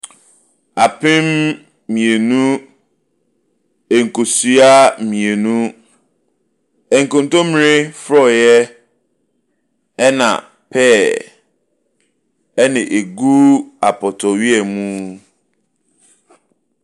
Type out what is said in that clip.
Apem mmienu, nkosua mmienu, nkontommire forɔeɛ, ɛna pear, na ɛgu apɔtɔyowa mu.